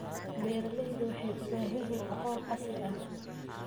Beeralaydu waxay u baahan yihiin aqoon casri ah.